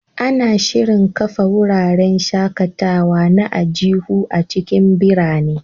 Ana shirin kafa wuraren shaƙatawa na aljihu a cikin birane.